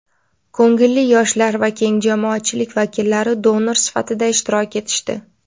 ko‘ngilli yoshlar va keng jamoatchilik vakillari donor sifatida ishtirok etishdi.